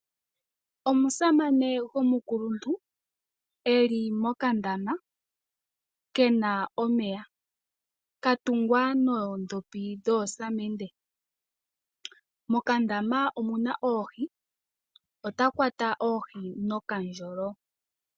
Omusamane gomukuluntu eli mokandama kena omeya. Katungwa noondhopi dhoosamende . Mokandama omuna oohi otakwata oohi nokandjolo.